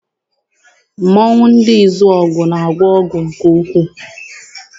Mmọnwụ ndị Izuọgụ na-agwọ ọgwụ nke ukwuu.